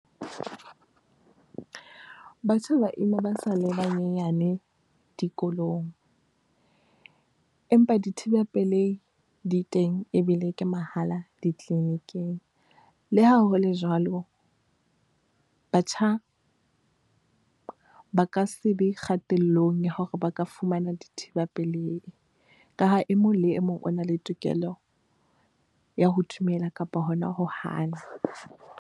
Batjha ba ima ba sa le banyenyane dikolong, empa dithibapelehi di teng ebile ke mahala di-clinic-ing. Le ha hole jwalo, batjha ba ka se be kgatellong ya hore ba ka fumana dithiba pelehi ka ha e mong le e mong o na le tokelo ya ho dumela kapa hona ho hana.